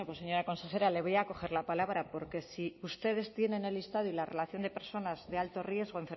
señora consejera le voy a coger la palabra porque si ustedes tienen el listado y la relación de personas de alto riesgo